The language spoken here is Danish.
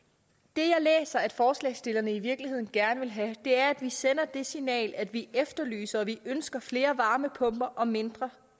det jeg læser at forslagsstillerne i virkeligheden gerne vil have er at vi sender det signal at vi efterlyser og at vi ønsker flere varmepumper og mindre